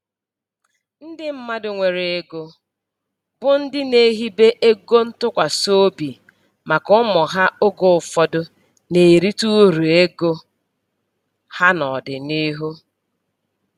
Ndị mmadụ nwere ego, bụ ndị na-ehibe ego ntụkwasị obi maka ụmụ ha oge ụfọdụ na-erite uru ego ha n'ọdịniihu.